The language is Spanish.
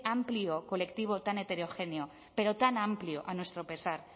amplio colectivo tan heterogéneo pero tan amplio a nuestro pesar